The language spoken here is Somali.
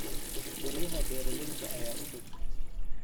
Guryaha beeralayda ayaa u dhow.